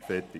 Fertig.